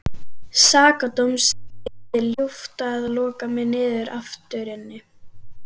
Sakadóms yrði ljúft að loka mig aftur inni.